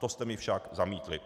To jste mi však zamítli.